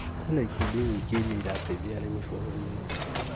Kwĩna ikundi nyingĩ irĩa irateithia arĩmi bũrũri-inĩ